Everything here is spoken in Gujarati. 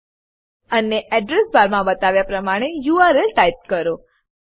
અને એડ્રેસ બાર એડ્રેસ બાર માં બતાવ્યા પ્રમાણે યુઆરએલ યુઆરએલ ટાઈપ કરો